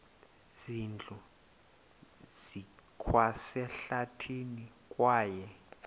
zindlu zikwasehlathini kwaye